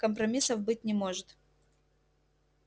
компромиссов быть не может